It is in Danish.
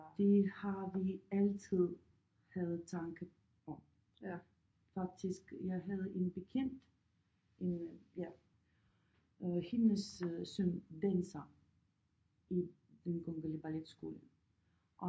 Det har vi altid havde tanke om faktisk jeg havde en bekendt øh ja hendes søn danser i den kongelige balletskole